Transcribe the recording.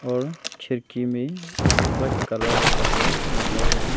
और खिड़की में वाइट कलर का कपड़ा रखा हुआ है।